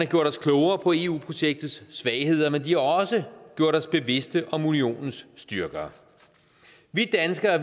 gjort os klogere på eu projektets svagheder men de har også gjort os bevidst om unionens styrker vi danskere